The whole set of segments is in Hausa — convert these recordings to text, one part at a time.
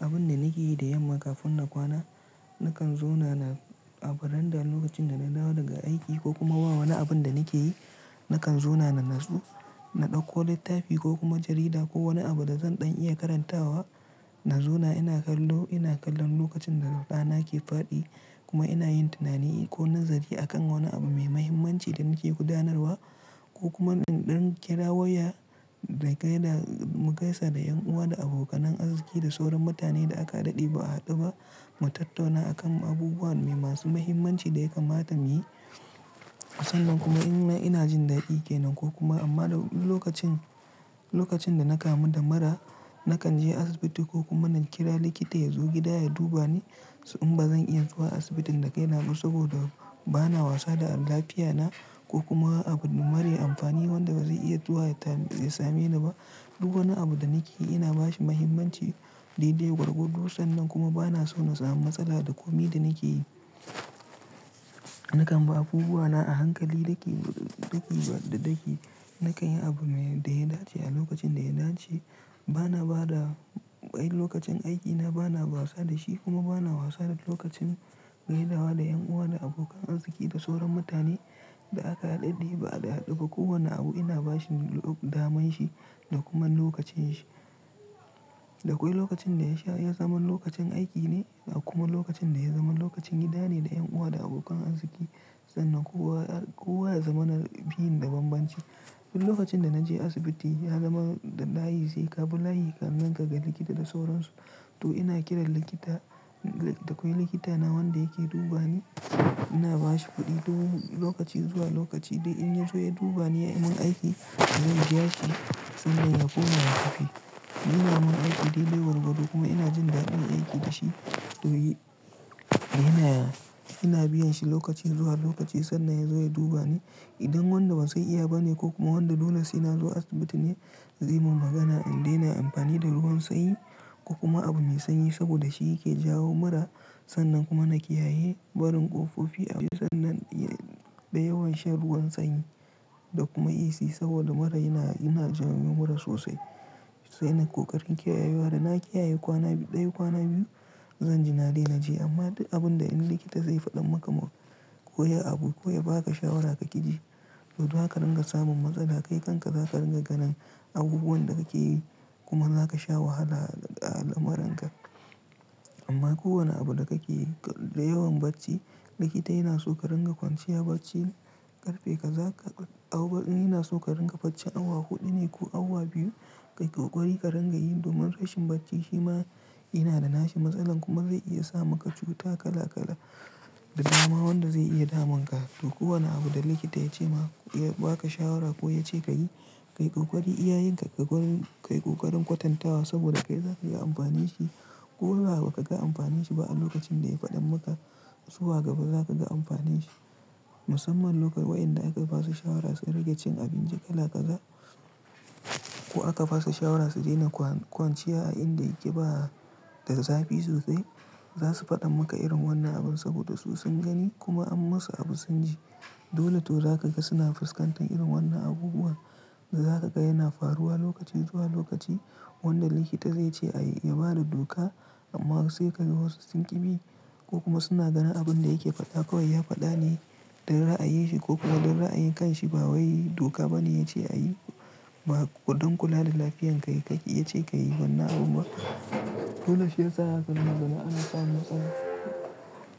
Abin da nake yi da yamma kafin na kwana, na kan zona na a veranda lokacin da na dawo daga aiki ko kuma ba wani abin da nake yi, na kan zona natsu, na dauko littafi ko kuma jarida ko wani abu da zan ɗan iya karantawa, na zo na ina kallo, ina kallon lokacin da rana ke faɗi kuma ina yin tunani ko nazari a kan wani abu mai mahimmanci da nake gudanarwa ko kuma in ɗan kira waya da gaida mu gaisa da 'yan uwa da abokanan arziki da sauran mutane da aka daɗe ba a haɗu ba, mu tattauna akan abubuwan masu mahimmanci da ya kamata mu yi. Sannan kuma ina jin daɗi ke nan ko kuma amma lokacin, lokacin da na kamu da mura, na kan je asibiti ko kuma na kira likita ya zo gida ya duba ni, saboda in ba zan iya zuwa asibitin da kai ba saboda bana wasa da lafiyana ko kuma abu mare amfani wanda ba zai iya zuwa ya same ni ba duk wani da nake yi ina bashi mahimmancin daidai gwargwado sannan kuma bana so na samu matsala da kome da nake yi. Nakan bi abubuwana a hankali daki daki. Nakan yi abu me da ya dace a lokacin da ya dace bana ba da lokacin aikina, bana wasa da shi kuma bana wasa da lokacin gaidawa da 'yan uwa da abokan arziki da sauran mutane da aka haɗe ba a hadu ba. Kowane abu ina bashi damanshi da kuma lokacanshi. Da kwai lokacin da ya zama lokacin aiki ne da kuma lokacin da ya zama lokacin gida ne da 'yan uwa da abokan arziki sannan kowa, kowa ya zama na biyun da banbanci. Duk lokacin da na je asibiti ya zama da layi sai ka bi layi kannan kaga likita da sauransu. To ina kiran likita, dakwai likita na wanda yake duba ni, ina ba shi kuɗi lokaci zuwa lokaci. Da in ya zo ya duba ni ya yi min aiki, zan biya shi sannan ya koma ya tafi. Ina min aiki daidai gwargwado kuma ina jin daɗin aiki da shi. To ina biyan shi lokaci zuwa lokaci sannan ya zo ya duba ni. Idan wanda ban san iya ba ne ko kuma wanda dole sai na zo asibiti ne, zai mun magana in dai na amfani da ruwan sanyi ko kuma abu mai sanyi saboda shi yake jawo mura. Sannan kuma na kiyaye barin ƙofofi a sannan da yawan shan ruwan sanyi da kuma AC saboda mura yana jawo mura sosai. Sai nan koƙarin kiyayewa da na kiyaye kwana ɗaya kwana biyu, zan ji na daina je. Amma duk abun da in likita zai faɗa maka ko ya yi abu ko ya baka shawara ka ki ji, to za ka dinga samun matsala. Kai kanka za ka ringa ganin abubuwan da kake yi kuma za ka sha wahala a al'amuranka. Amma kowane abu da kake yi da yawan bacci, likita yana so ka ringa kwanciya bacci. Karfe ka zaka, yana so ka ringa bacci. Awa huɗu ne ko awa biyu ka yi ƙoƙari ka ringa yi domin rashin bacci shi ma yana da nashi matsala kuma zai iya sa maka cuta kala kala da dama wanda zai iya damun ka. To kowane abu da likita ya ce maka, ya baka shawara ko ya ce ka yi, ka yi ƙoƙari, iyayinka ka yi ƙoƙarin kwatantawa saboda kai za ka ga amfanin shi. Koda ba ka ga amfani shi ba a lokacin da ya faɗa maka, zuwa gaba za ka ga amfani shi. Musamman lokar waɗanda aka ba su shawara su riƙe cin abinci kala kaza ko aka ba su shawara su daina kwanciya a inda yake ba da zafi sosai, za su faɗa maka irin wannan abun saboda su sun gani kuma an masu abu sun ji. Dole to za ka ga suna fuskantar irin wannan abubuwan. Za ka ga yana faruwa lokaci zuwa lokaci wanda likita zai ce a yi yaba da doka amma sai ka ga wasu sun ƙi bi ko kuma suna ganin abun da yake faɗa kawai ya faɗa ne don ra'ayin shi ko kuma don ra'ayin kanshi ba wai doka ba ne ya ce a yi. Ba don kula da lafiyar ka ya ce ka yi wannan abun ba. Dole shiyasa za ka gama da ana samun matsala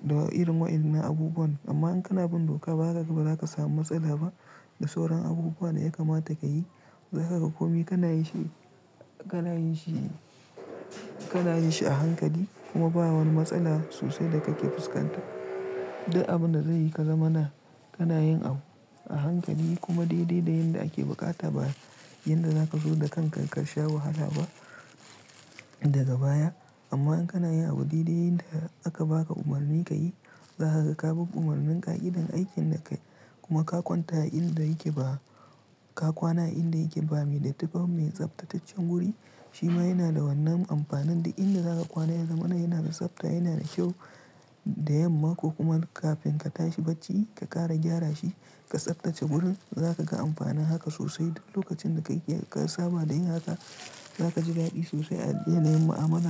da irin waƴannan abubuwan. Amma in kana bin doka ba haka gaba za ka samu matsala ba. Da sauran abubuwan da ya kamata ka yi, za ka ga komai kana yi shi, kana yin shi, kana yin shi a hankali kuma ba wani matsala sosai da kake fuskanta. Duk abun da zai yi ka zama na, kana yin abu a hankali kuma daidai da yadda ake buƙata ba yadda za ka zo da kanka ka sha wahala ba daga baya. Amma in kana yi abu daidai yadda aka baka umarni ka yi, za ka ga babu umarnin ƙa'idan aikin da kai kuma ka kwanta a inda yake ba, ka kwana a inda yake ba mai da tafan mai tsaftataccen guri, shi ma yana da wannan amfanin da inda za ka kwana ya zama yana da tsafta, yana da kyau da yamma ko kuma kafin ka tashi bacci, ka ƙara gyara shi, ka tsaftace gurin, za ka ga amfanin haka sosai. Lokacin da ka saba da yin haka, za ka ji daɗi sosai a yanayin ma'amala.